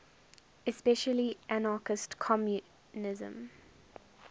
especially anarchist communism